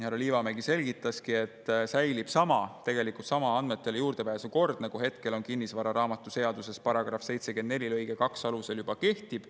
Härra Liivamägi selgitaski, et tegelikult säilib sama andmetele juurdepääsu kord, nagu kinnistusraamatuseaduse § 74 lõike 2 alusel juba kehtib.